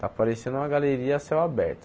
Esá parecendo uma galeria a céu aberto.